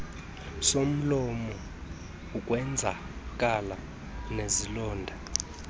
somlomo ukwenzakala nezilonda